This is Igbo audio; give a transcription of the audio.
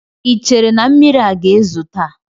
Ị chere na mmiri aga ezo taa?